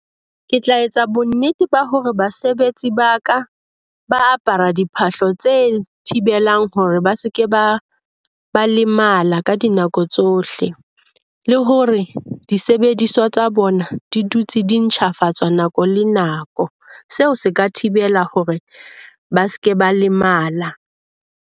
Ke tla etsa bonnete ba hore basebetsi ba ka ba apara diphahlo tse thibelang hore ba se ke ba lemala ka dinako tsohle, le hore disebediswa tsa bona di dutse di ntjhafatswa nako le nako. Seo se ka thibela hore ba se ke ba lemala.